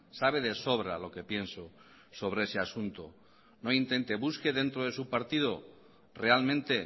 sabe de sobra lo que pienso sobre ese asunto no intente busque dentro de su partido realmente